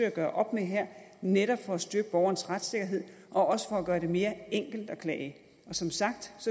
at gøre op med her netop for at styrke borgerens retssikkerhed og også for at gøre det mere enkelt at klage som sagt